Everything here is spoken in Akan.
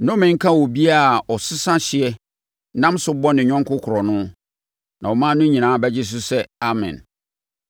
“Nnome nka obiara a ɔsesa hyeɛ nam so bɔ ne yɔnko korɔno.” Na ɔman no nyinaa bɛgye so sɛ, “Amen!”